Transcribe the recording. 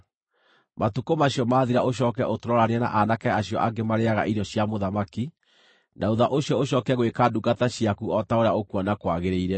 Matukũ macio maathira ũcooke ũtũroranie na aanake acio angĩ marĩĩaga irio icio cia mũthamaki, na thuutha ũcio ũcooke gwĩka ndungata ciaku o ta ũrĩa ũkuona kwagĩrĩire.”